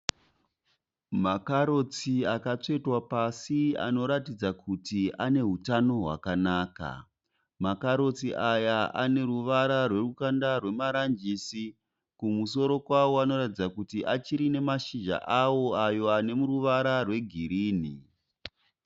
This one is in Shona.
Makarotsi akatsvetwa pasi anoratidza kuti ane hutano hwakanaka , makarotsi aya aneruvara rwerukanda rwemaranjisi, kumusoro kwawo anoratidza kuti achiine mashizha awo ayo ane ruvara rwegirini.